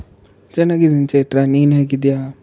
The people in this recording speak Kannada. ಚೆನ್ನಾಗಿದಿನ್ ಚೈತ್ರಾ ನೀನ್ ಹೇಗಿದ್ದೀಯ?